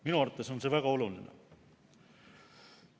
Minu arvates on see väga oluline.